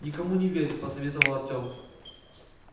никому не верь посоветовал артем